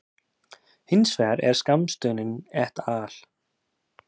Hins vegar er skammstöfunin et al.